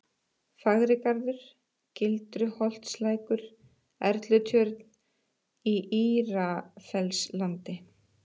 Fagrigarður, Gildruholtslækur, Erlutjörn, Í Írafellslandi